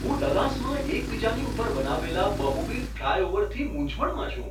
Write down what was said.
હું ડલ્લાસમાં એકબીજાની ઉપર બનાવેલા બહુવિધ ફ્લાયઓવરથી મૂંઝવણમાં છું.